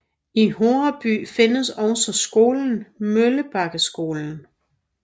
I Horreby findes også skolen Møllebakkeskolen